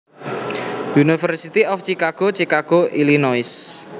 University of Chicago Chicago Illinois